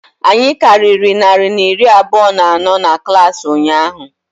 Anyị karịrị narị na iri abụọ na anọ na klaasị ụnyaahụ